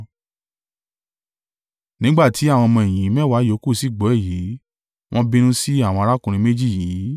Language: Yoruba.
Nígbà tí àwọn ọmọ-ẹ̀yìn mẹ́wàá ìyókù sì gbọ́ èyí, wọ́n bínú sí àwọn arákùnrin méjì yìí.